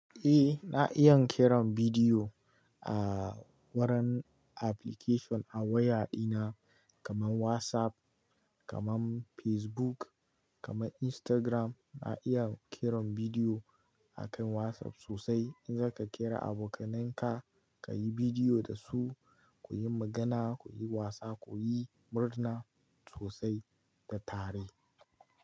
Eh, na iya kiran bidiyo a wurin application a waya ɗina kamar WhatsApp, kamar Facebook, kamar Instagram. Na iya kiran bidiyo akan WhatsApp sosai. In zaka kira abokananka, ka yi bidiyo da su, ku yi magana, ku yi wasa, ku yi murna sosai da tare.